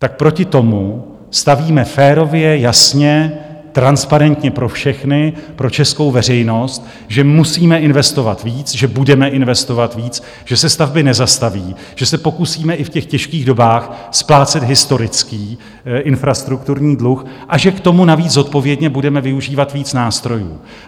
Tak proti tomu stavíme férově, jasně, transparentně pro všechny, pro českou veřejnost, že musíme investovat víc, že budeme investovat víc, že se stavby nezastaví, že se pokusíme i v těch těžkých dobách splácet historický infrastrukturní dluh a že k tomu navíc zodpovědně budeme využívat víc nástrojů.